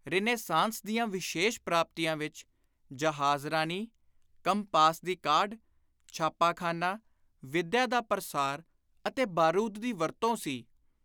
Renaissance ਦੀਆਂ ਵਿਸ਼ੇਸ਼ ਪ੍ਰਾਪਤੀਆਂ ਵਿਚ ਜਹਾਜ਼ਰਾਨੀ, ਕੰਪਾਸ ਦੀ ਕਾਢ, ਛਾਪਾਖ਼ਾਨਾ, ਵਿੱਦਿਆ ਦਾ ਪਰਸਾਰ ਅਤੇ ਬਾਰੂਦ ਦੀ ਵਰਤੋਂ ਸੀ।